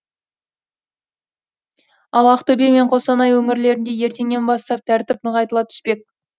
ал ақтөбе мен қостанай өңірлерінде ертеңнен бастап тәртіп нығайтыла түспек